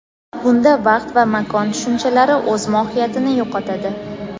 bunda vaqt va makon tushunchalari o‘z mohiyatini yo‘qotadi.